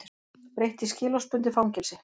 Breytt í skilorðsbundið fangelsi